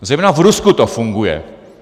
Zejména v Rusku to funguje.